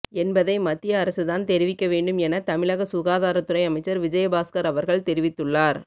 என்பதை மத்திய அரசுதான் தெரிவிக்க வேண்டும் என தமிழக சுகாதாரத்துறை அமைச்சர் விஜயபாஸ்கர் அவர்கள் தெரிவித்துள்ளார்